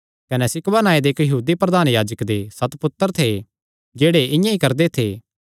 कने सिक्कवा नांऐ दे इक्क यहूदी प्रधान याजके दे सत पुत्तर थे जेह्ड़े इआं ई करदे थे